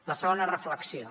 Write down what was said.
la segona reflexió